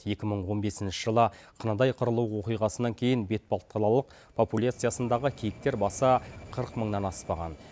екі мың он бесінші жылы қынадай қырылу оқиғасынан кейін бетпақдалалық популяциясындағы киіктер басы қырық мыңнан аспаған